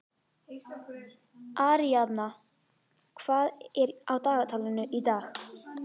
Aríaðna, hvað er á dagatalinu í dag?